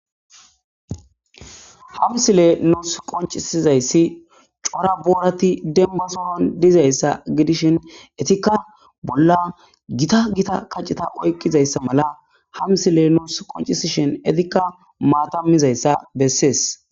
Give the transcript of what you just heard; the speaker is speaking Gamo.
ha msile nus qoncisizayssi cora boorati denbasohon dizayssa gidishin etikka bolla gita gita kacceta oyqizayssa mala hamsile noos qoncisishin etikka maatamizayssa bessees